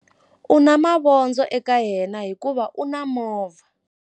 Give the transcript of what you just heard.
U na mavondzo eka yena hikuva u na movha.